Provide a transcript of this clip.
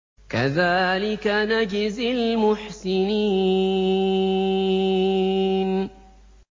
كَذَٰلِكَ نَجْزِي الْمُحْسِنِينَ